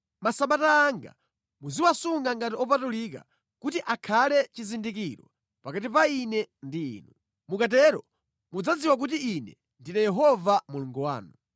Masabata anga muziwasunga ngati opatulika kuti akhale chizindikiro pakati pa Ine ndi inu. Mukatero mudzadziwa kuti Ine ndine Yehova Mulungu wanu.’